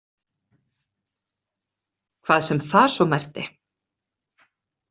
Hvað sem það svo merkti.